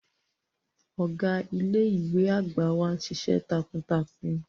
Ọga ile-iwe agba wa nšiṣ̌ẹ takuntakun.